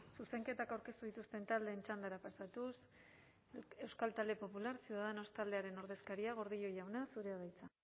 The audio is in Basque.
zuzenketak aurkeztu dituzten taldeen txandara pasatuz euskal talde popular ciudadanos taldearen ordezkaria gordillo jauna zurea da hitza